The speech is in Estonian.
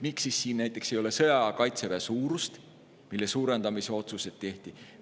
Miks siin näiteks ei ole sõjaaja kaitseväe suurust, mille suurendamise otsuseid tehti?